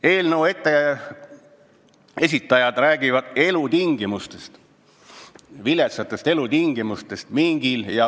Eelnõu esitajad räägivad mingi ja hõberebase viletsatest elutingimustest.